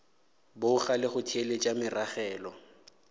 boga le go theeletša meragelo